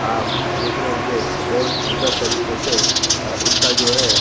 आप देख रहे होंगे तो बहुत सुंदर तरीके से अ उसका जो है --